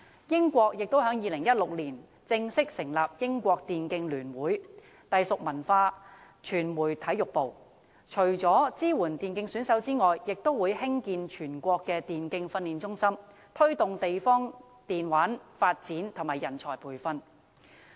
英國在2016年也正式成立英國電競聯會，隸屬文化傳媒體育部，除支援電競選手外，亦會興建全國電競訓練中心，以推動地方的電玩發展和人才培訓。